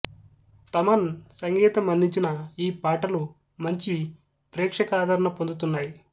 థమన్ సంగీతం అందించిన ఈ పాటలు మంచి ప్రేక్షకాదరణ పొందుతున్నాయి